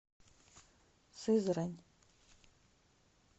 сызрань